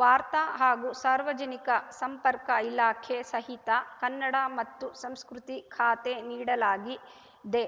ವಾರ್ತಾ ಹಾಗೂ ಸಾರ್ವಜನಿಕ ಸಂಪರ್ಕ ಇಲಾಖೆ ಸಹಿತ ಕನ್ನಡ ಮತ್ತು ಸಂಸ್ಕೃತಿ ಖಾತೆ ನೀಡಲಾಗಿದೆ